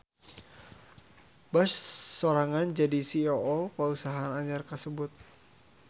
Bush sorangan jadi CEO pausahaan anyar kasebut.